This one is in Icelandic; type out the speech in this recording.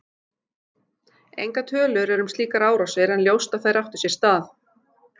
Engar tölur eru um slíkar árásir en ljóst að þær áttu sér stað.